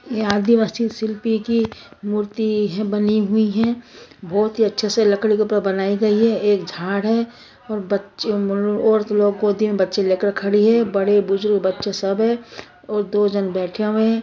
यहाँ अदिवासी शिल्पी की मूर्ति हुई है बनी हुई है बहुत ही अच्छे से लकड़ी की ऊपर बनाई गई है एक झाड़ है और बच्चे ओर मूल ओर रूम लोग गोदी मे बच्चे लेकर खड़ी है बड़े बुजुर्ग बच्चे सब है और दो झन बैठे हुए है।